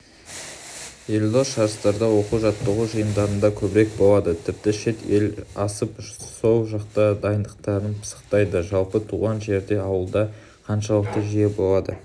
елдос жарыстарда оқу-жаттығу жиындарында көбірек болады тіпті шет ел асып сол жақта дайындықтарын пысықтайды жалпы туған жерде ауылда қаншалықты жиі болады